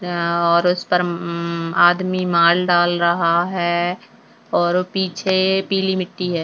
और उसपर म म आदमी माल डाल रहा है और पीछे पिली मिट्टी है।